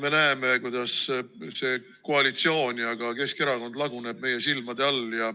Me näeme, kuidas see koalitsioon ja ka Keskerakond laguneb meie silmade all.